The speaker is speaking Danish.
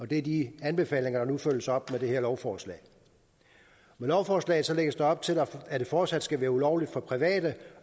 det er de anbefalinger der nu følges op med det her lovforslag med lovforslaget lægges der op til at det fortsat skal være ulovligt for private